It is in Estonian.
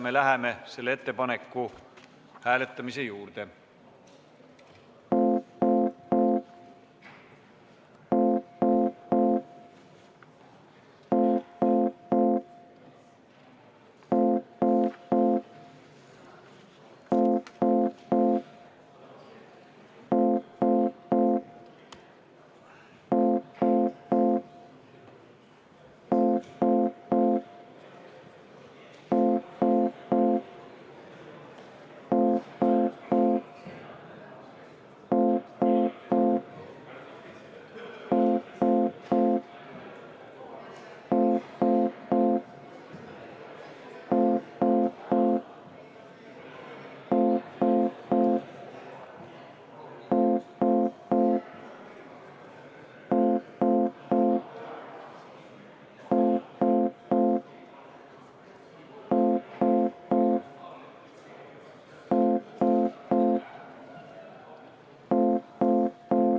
Me läheme selle ettepaneku hääletamise juurde.